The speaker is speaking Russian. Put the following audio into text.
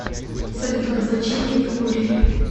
салют обозначение меркурий